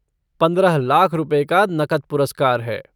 पंद्रह लाख रुपये का नकद पुरस्कार है।